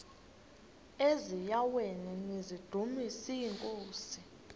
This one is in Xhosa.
eziaweni nizidumis iinkosi